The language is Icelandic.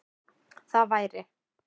Það væri